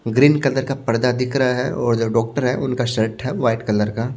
Green colour का पर्दा दिख रहा है और जो डॉक्टर है उनका शर्ट है वाइट कलर का।